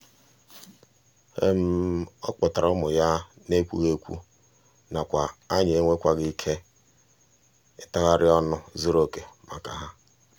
ọ kpọtara ụmụ ya n'ekwughị ekwu nakwa anyị enweghịkwa ihe ntagharị ọnụ zuruoke maka ha.